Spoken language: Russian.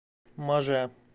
маже